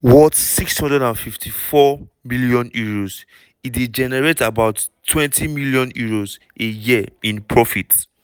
worth £654m e dey generate about £20m a year in profits.